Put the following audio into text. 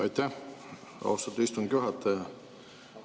Aitäh, austatud istungi juhataja!